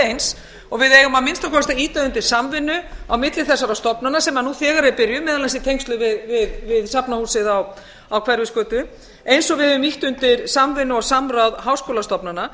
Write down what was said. eins og við eigum að minnsta kosti að ýta undir samvinnu á milli þessara stofnana sem nú þegar er byrjuð meðal annars í tengslum við safnahúsið á hverfisgötu eins og við höfum ýtt undir samvinnu og samráð háskólastofnana